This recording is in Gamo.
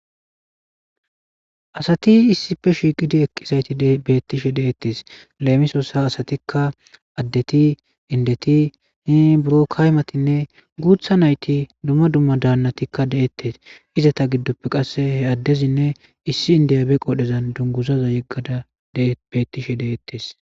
Asati issife shiiqidi eqqisayti beettishe deettes leemisossa asatikka addeti indeti hi buro kaymatinne guutha nayti dumma dumma daannatikka de'ettes izata giddoppe qasse he addezinne issi indiyabe qodhezan dunguzaza yeggada beettishe deettes.